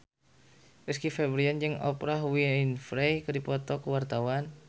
Rizky Febian jeung Oprah Winfrey keur dipoto ku wartawan